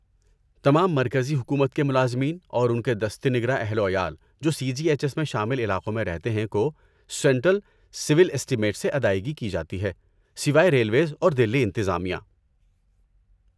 تمام مرکزی حکومت کے ملازمین اور ان کے دست نگر اہل و عیال جو سی جی ایچ ایس میں شامل علاقوں میں رہتے ہیں، کو سینٹرل سول اسٹیمیٹس سے ادائیگی کی جاتی ہے ،سوائے ریلویز اور دہلی انتظامیہ